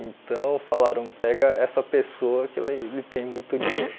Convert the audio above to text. Então falaram, pega essa pessoa que ele ele tem muito dinheiro.